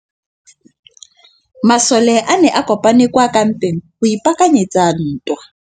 Masole a ne a kopane kwa kampeng go ipaakanyetsa ntwa.